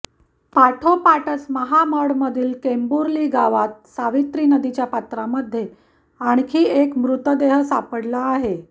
पाठोपाठच महामडमधील केंबुर्ली गावात सावित्री नदीच्या पात्रामध्ये आणखी एक मृतदेह सापडला आहे